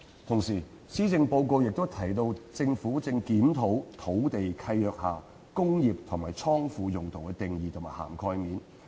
同時，施政報告亦提到政府正檢討土地契約下"工業"及"倉庫"用途的定義和涵蓋面。